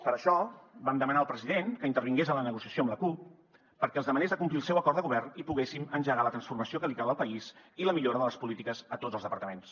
per això vam demanar al president que intervingués en la negociació amb la cup perquè els demanés de complir el seu acord de govern i poguéssim engegar la transformació que li cal al país i la millora de les polítiques a tots els departaments